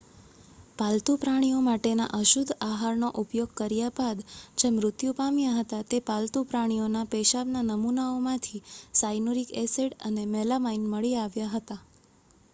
પાલતુ પ્રાણીઓ માટેના અશુદ્ધ આહારનો ઉપયોગ કર્યા બાદ જે મૃત્યુ પામ્યા હતા તે પાલતું પ્રાણીઓના પેશાબના નમૂનાઓમાંથી સાયનુરીક એસીડ અને મેલામાઇન મળી આવ્યા હતા